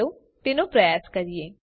ચાલો તેનો પ્રયાસ કરીએ